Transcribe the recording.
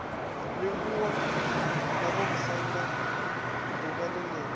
livhuwa vhamusanda d uvha ḽenelo